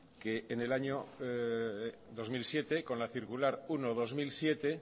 que en el año dos mil siete con la circular uno barra dos mil siete